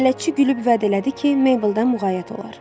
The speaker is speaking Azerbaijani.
Bələdçi gülüb vədə elədi ki, Meybldan müğayət olar.